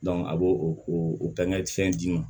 a b'o o fɛngɛ fɛn d'i ma